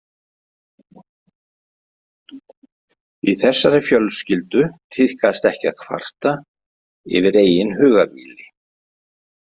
Í þessari fjölskyldu tíðkast ekki að kvarta yfir eigin hugarvíli.